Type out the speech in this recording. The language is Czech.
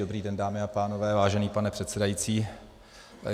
Dobrý den, dámy a pánové, vážený pane předsedající.